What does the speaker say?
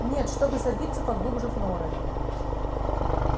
нет чтобы забиться поглубже в норы